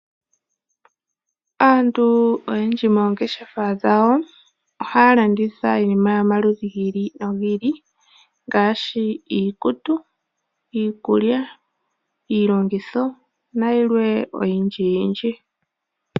Aantu oyendji moongeshefa dhawo ohaya landitha iinima yomaludhi gi ili nogi ili ngaashi iikutu, iikulya, iilongitho nayilwe oyindji yindji.